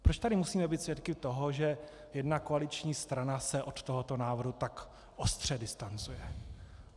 Proč tady musíme být svědky toho, že jedna koaliční strana se od tohoto návrhu tak ostře distancuje?